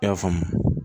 I y'a faamu